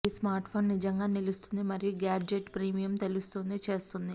ఈ స్మార్ట్ఫోన్ నిజంగా నిలుస్తుంది మరియు గాడ్జెట్ ప్రీమియం తెలుస్తోంది చేస్తుంది